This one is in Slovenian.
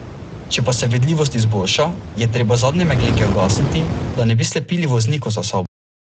Če pa se vidljivost izboljša, je treba zadnje meglenke ugasniti, da ne bi slepili voznikov za sabo.